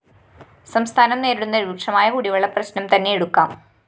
സംസ്ഥാനം നേരിടുന്ന രൂക്ഷമായ കുടിവെള്ള പ്രശ്‌നം തന്നെ എടുക്കാം